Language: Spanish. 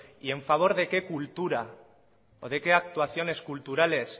y en favor de qué cultura o de qué actuaciones culturales